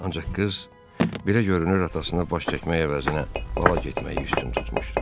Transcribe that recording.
Ancaq qız, belə görünür, atasına baş çəkmək əvəzinə bala getməyi üstün tutmuşdu.